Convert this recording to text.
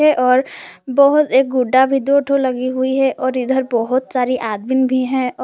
है और बहुत एक गुड्डा भी दो ठो लगी हुई है और इधर सारे बहुत आदमी भी हैं और--